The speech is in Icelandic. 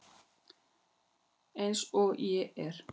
Eins og ég er.